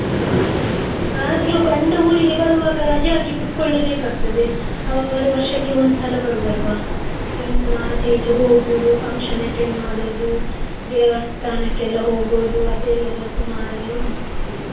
ಆದ್ರೂ ಗಂಡ ಊರಿಗೆ ಬರ್ವಾಗ ರಜೆ ಹಾಕಿ ಕೂತ್ಕೊಳ್ಳೆ ಬೇಕಾಗ್ತದೆ ಅವರು ವರ್ಷಕ್ಕೆ ಒಂದ್ಸಲ ಬರುದಲ್ವಾ ಇನ್ನು ಆಚೆ ಈಚೆ ಹೋಗುದು, function attend ಮಾಡುದು, ದೇವಸ್ಥಾನಕ್ಕೆ ಎಲ್ಲಾ ಹೋಗುದು ಅದೇ ಎಲ್ಲಾ ಸುಮರ್ ಎಲ್ಲಾ ಉಂಟು.